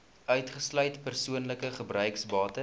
uitgesluit persoonlike gebruiksbates